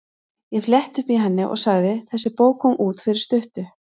Ég fletti upp í henni og sagði: Þessi bók kom út fyrir stuttu.